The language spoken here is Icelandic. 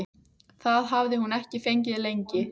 Það hafði hún ekki fengið lengi.